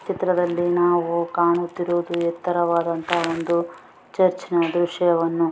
ಈ ಚಿತ್ರದಲ್ಲಿ ನಾವು ಕಾಣುತ್ತಿರುವುದು ಎತ್ತರವಾದಂತಹ ಒಂದು ಚರ್ಚ್ ನ ದೃಶ್ಯವನ್ನು --